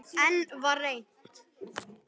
Enn var reynt.